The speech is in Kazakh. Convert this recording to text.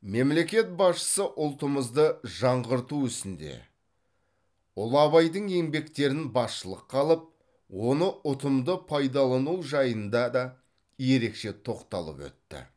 мемлекет басшысы ұлтымызды жаңғырту ісінде ұлы абайдың еңбектерін басшылыққа алып оны ұтымды пайдалану жайында да ерекше тоқталып өтті